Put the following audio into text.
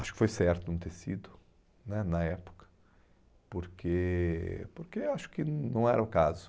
Acho que foi certo não ter sido né na época, porque porque acho que não era o caso.